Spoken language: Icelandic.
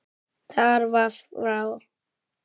Það var frá